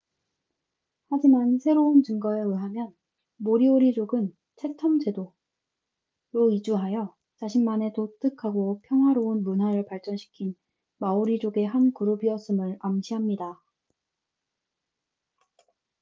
하지만 새로운 증거에 의하면 모리오리족은 채텀 제도chatham islands로 이주하여 자신만의 독특하고 평화로운 문화를 발전시킨 마오리족의 한 그룹이었음을 암시합니다